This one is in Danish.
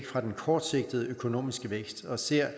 fra den kortsigtede økonomiske vækst og ser